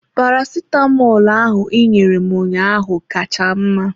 Paracetamolu ahụ ị nyere m ụnyaahụ ka cha mma.